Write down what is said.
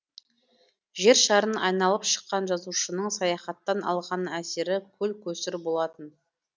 жер шарын айналып шыққан жазушының саяхаттан алған әсері көл көсір болатын